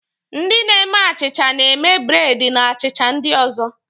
Ndị na-eme achịcha na-eme breedi na achịcha ndị ozo.